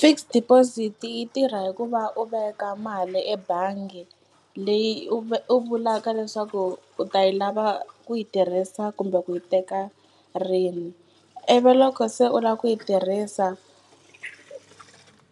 Fixed deposit yi tirha hi ku va u veka mali ebangi leyi u u vulaka leswaku u ta yi lava ku yi tirhisa kumbe ku yi teka rini ivi loko se u la ku yi tirhisa